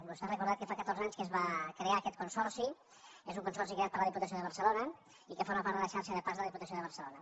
vostè ha recordat que fa catorze anys que es va crear aquest consorci és un consorci creat per la diputació de barcelona i que forma part de la xarxa de parcs de la diputació de barcelona